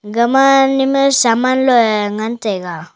gama ne ma saman loa ngan taiga.